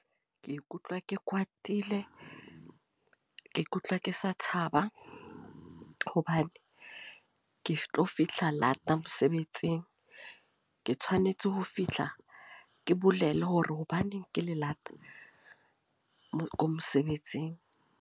Ke ikutlwa ke Kwatile. Ke ikutlwa ke sa thaba, hobane ke tlo fihla lata mosebetsing. Ke tshwanetse ho fihla ke bolele hore hobaneng ke le lata mosebetsing.